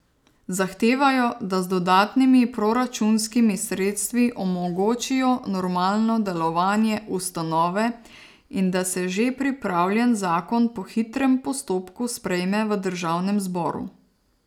Zahtevajo, da z dodatnimi proračunskimi sredstvi omogočijo normalno delovanje ustanove in da se že pripravljen zakon po hitrem postopku sprejme v državnem zboru.